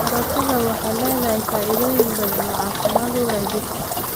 Karootada waxay leedahay faa'iidooyin badan oo caafimaad u leh jidhka.